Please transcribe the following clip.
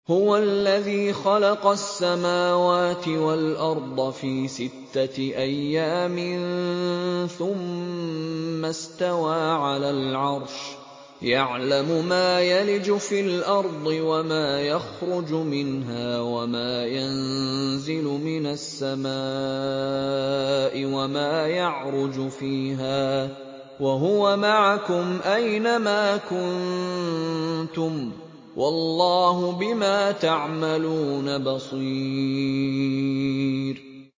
هُوَ الَّذِي خَلَقَ السَّمَاوَاتِ وَالْأَرْضَ فِي سِتَّةِ أَيَّامٍ ثُمَّ اسْتَوَىٰ عَلَى الْعَرْشِ ۚ يَعْلَمُ مَا يَلِجُ فِي الْأَرْضِ وَمَا يَخْرُجُ مِنْهَا وَمَا يَنزِلُ مِنَ السَّمَاءِ وَمَا يَعْرُجُ فِيهَا ۖ وَهُوَ مَعَكُمْ أَيْنَ مَا كُنتُمْ ۚ وَاللَّهُ بِمَا تَعْمَلُونَ بَصِيرٌ